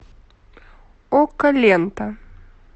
окко лента